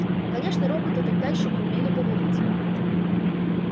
конечно роботы тогда ещё не умели говорить